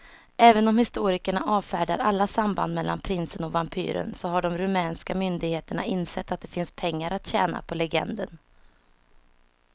Även om historikerna avfärdar alla samband mellan prinsen och vampyren så har de rumänska myndigheterna insett att det finns pengar att tjäna på legenden.